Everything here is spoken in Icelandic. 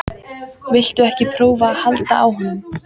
Viltu ekki prófa að halda á honum?